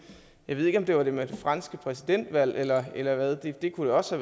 jeg ved ikke om det var det med det franske præsidentvalg eller eller hvad det kunne det også